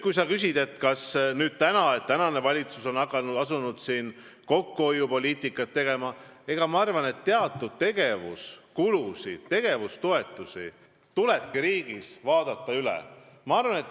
Kui sa küsid, kas valitsus on nüüd asunud kokkuhoiupoliitikat ajama, siis ma arvan, et tegevuskulusid, tegevustoetusi tulebki riigis üle vaadata.